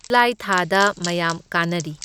July ꯊꯥꯗ ꯃꯌꯥꯝ ꯀꯥꯅꯔꯤ꯫